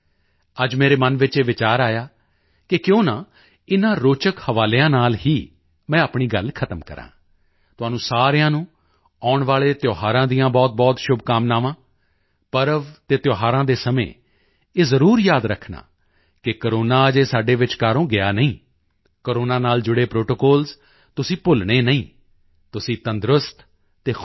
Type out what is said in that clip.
ਅੱਜ ਮੇਰੇ ਮਨ ਵਿੱਚ ਇਹ ਵਿਚਾਰ ਆਇਆ ਕਿ ਕਿਉਂ ਨਾ ਇਨ੍ਹਾਂ ਰੋਚਕ ਹਵਾਲਿਆਂ ਨਾਲ ਹੀ ਮੈਂ ਆਪਣੀ ਗੱਲ ਖ਼ਤਮ ਕਰਾਂ ਤੁਹਾਨੂੰ ਸਾਰਿਆਂ ਨੂੰ ਆਉਣ ਵਾਲੇ ਤਿਓਹਾਰਾਂ ਦੀਆਂ ਬਹੁਤਬਹੁਤ ਸ਼ੁਭਕਾਮਨਾਵਾਂ ਪਰਵ ਅਤੇ ਤਿਓਹਾਰਾਂ ਦੇ ਸਮੇਂ ਇਹ ਜ਼ਰੂਰ ਯਾਦ ਰੱਖਣਾ ਕਿ ਕੋਰੋਨਾ ਅਜੇ ਸਾਡੇ ਵਿਚਕਾਰੋਂ ਗਿਆ ਨਹੀਂ ਕੋਰੋਨਾ ਨਾਲ ਜੁੜੇ ਪ੍ਰੋਟੋਕੋਲਜ਼ ਤੁਸੀਂ ਭੁੱਲਣੇ ਨਹੀਂ ਹਨ ਤੁਸੀਂ ਤੰਦਰੁਸਤ ਅਤੇ ਖੁਸ਼ ਰਹੋ